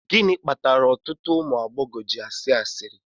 Gịnị kpatara ọtụtụ ụmụ agbọghọ ji asị asịrị